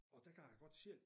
Og der kan jeg godt selv